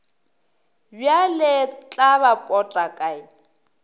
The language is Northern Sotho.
bjale tla ba pota kae